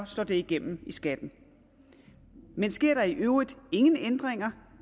slår det igennem i skatten men sker der i øvrigt ingen ændringer